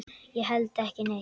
Ég held ekki neitt.